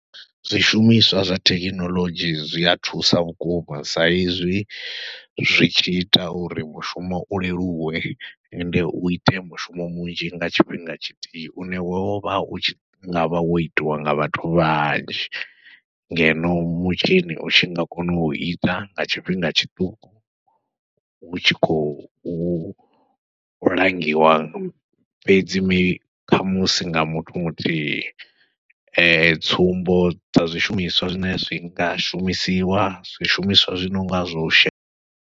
Zwishumiswa zwa thekinoḽodzhi zwi a thusa vhukuma sa izwi zwi tshi ita uri mushumo u leluwe, ende u ite mushumo munzhi nga tshifhinga tshithihi une wo vha u tshi nga vha wo itiwa nga vhathu vhanzhi, ngeno mutshini u tshi nga kona u ita nga tshifhinga tshiṱuku hu tshi khou langiwa fhedzi mi, khamusi nga muthu muthihi. Tsumbo dza zwishumiswa zwine zwi nga shumisiwa, zwishumiswa zwinonga zwo she.